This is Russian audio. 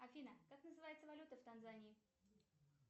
афина как называется валюта в танзании